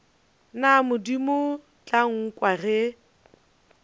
na modimo tla nkwa ge